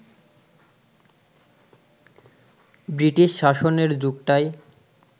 British শাসনের যুগটাই